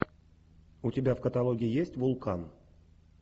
у тебя в каталоге есть вулкан